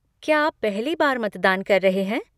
क्या आप पहली बार मतदान कर रहे हैं?